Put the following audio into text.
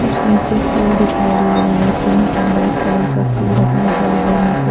कुछ नीचे फूल दिखाई दे रहा है पिंक एंड वाइट कलर का फूल लगा हुआ है नीचे--